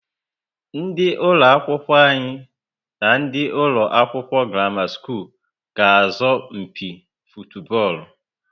Ndị ụlọ akwụkwọ anyi na ndị ụlọ akwụkwọ Gramama school ga azo mpi futubolu